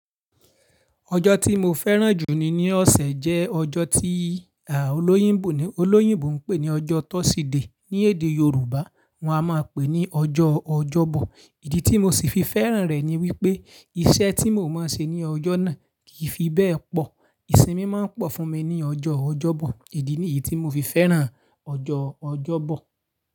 Ọjọ́ tí mo fẹ́ràn jù ni, ní ọ̀sẹ̀ jẹ́ ọjọ́ tí, aah, oloyinbo, olóyìnbó ń pè ní ọjọ́ Tọside. Ní èdè Yorùbá wọ́n a máa pè ní ọjọ́ Ọjọ́bọ̀. Ìdí tí mo ṣì fi fẹ́ràn rẹ̀ ni wípé iṣẹ́ tí mo máa ń ṣe ní ọjọ́ náà kì í fi bẹ́ẹ̀ pọ̀. Ìsinmi máa ń pọ̀ fún mi ní ọjọ́ Ọjọ́bọ̀. Ìdí ní yí tí mo fi fẹ́ràn ọjọ́ Ọjọ́bọ̀.